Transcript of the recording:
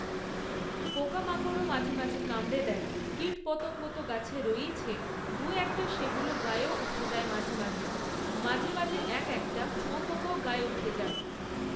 পোকামাকড়ও মাঝেমাঝে কামড়ে দেয়, কীটপতঙ্গ তো গাছে রয়েইছে, দু একটা তা সেগুলো গায়েও উঠে যায় মাঝে মাঝে, মাঝে মাঝে এক একটা শুঁয়াপোকাও গায়ে উঠে যায়।